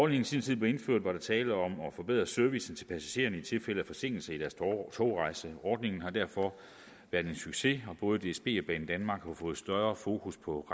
i sin tid blev indført var der tale om at forbedre servicen til passagererne i tilfælde af forsinkelse i deres togrejse ordningen har derfor været en succes og både dsb og banedanmark har fået større fokus på